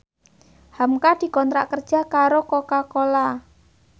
hamka dikontrak kerja karo Coca Cola